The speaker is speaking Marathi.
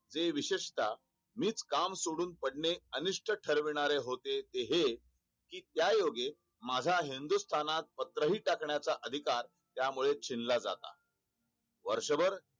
ते विशेषता नीट काम सोडून पडणे अनिष्ट ठरविणारे होते ते हे कि त्याओगे माझा हिंदुस्थात पत्र हि टाकण्याचा अधिकार त्यामुळे छिनला जातो वर्षभर